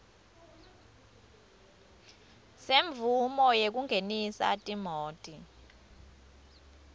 semvumo yekungenisa timoti